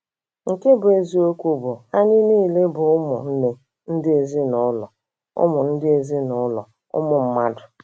Nke bụ eziokwu bụ, Anyị niile bụ ụmụnne, ndị ezinụlọ ụmụ ndị ezinụlọ ụmụ mmadụ.